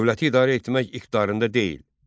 Dövləti idarə etmək iqtidarında deyil.